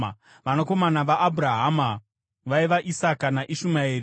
Vanakomana vaAbhurahama vaiva: Isaka naIshumaeri.